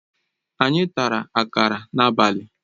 Anyị tara akara n'abalị